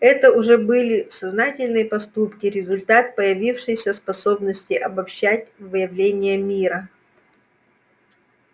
это уже были сознательные поступки результат появившейся способности обобщать выявления мира